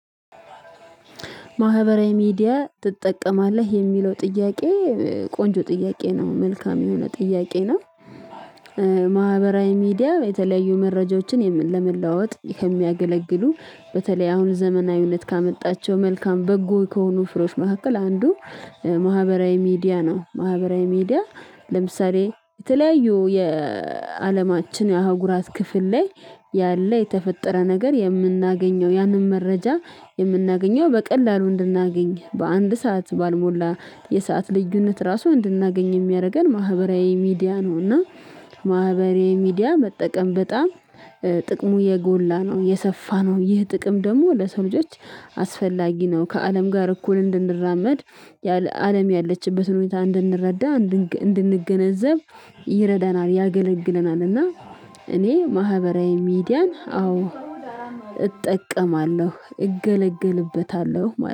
ማህበራዊ ሚዲያ ትጠቀማለህ የሚለው ጥያቄ ቆንጆ ጥያቄ ነው መልካም የሆነ ጥያቄ ነው። ማህበራዊ ሚዲያ የተለያዩ መረጃዎችን ለመለዋወጥ የሚያገለግሉ በተለይ አሁን ዘመናዊነት ካመጣቸው መልካም በጎ ከሆኑ ፍሬዎች መካከል አንዱ ማህበራዊ ሚዲያ ነው። ማህበራዊ ሚዲያ ለምሳሌ የተለያዩ የአለማችን የአህጉራት ክፍል ላይ ያለ የተፈጠረ ነገር የምናገኘው ያንን መረጃ የምናገኘው በቀላሉ እንድናገኝ በአንድ ሰዓት ባልሞላ የሰዓት ልዩነት ራሱ እንድናገኝ የሚያደርገን ማህበራዊ ሚዲያ ነው። እና ማህበራዊ ሚዲያ መጠቀም በጣም ጥቅሙ የጎላ ነው። የሰፋ የሰፋነው ይህ ጥቅም ደግሞ ለሰው ልጆች አስፈላጊ ነው። ከአለም ጋር እኩል እንድንራመድ አለም ያለችበትን ሁኔታ እንድንረዳ እንድንገነዘብ ይረዳናል ያገለግለናልና። እኔ ማህበራዊ ሚዲያን አዎ እጠቀማለሁ እገለገልበታለሁ